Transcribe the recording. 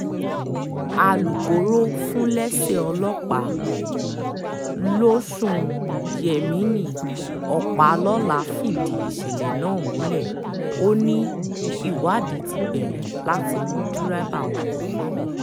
alūkkóró fúnléèṣẹ̀ ọlọ́pàá lọ́sùn yemini ọpàlọ́lá fìdí ìṣẹ̀lẹ̀ náà múlẹ̀ ó ní ìwádìí ti bẹ̀rẹ̀ láti mú dẹ́rẹ́bà ọkọ̀ náà